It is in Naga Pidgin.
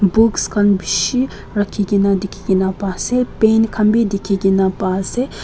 books khan bishi rakhikena dikhikae paase pen khan bi dikhikae na pa ase.